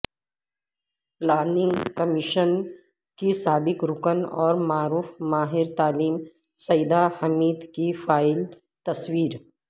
planning commission کی سابق رکن اور معروف ماہر تعلیم سعیدہ حمید کی فائل تصویر